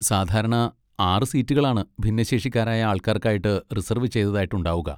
സാധാരണ ആറ് സീറ്റുകളാണ് ഭിന്നശേഷിക്കാരായ ആൾക്കാർക്കായിട്ട് റിസർവ് ചെയ്തതായിട്ട് ഉണ്ടാവുക.